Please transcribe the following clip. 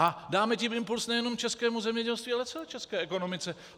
A dáme tím impuls nejenom českému zemědělství, ale celé české ekonomice.